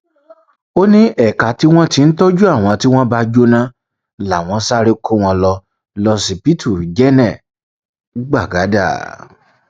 ó ní ẹka tí wọn ti ń tọjú àwọn tó bá jóná làwọn sáré kó wọn lọ lọsibítù jẹnẹ gbagada